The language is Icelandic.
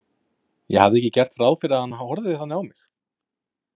Ég hafði ekki gert ráð fyrir að hann horfði þannig á mig.